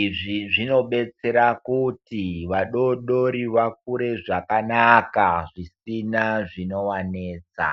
izvi zvino betsera kuti vadodori vakure zvakanaka zvisina zvinova netsa.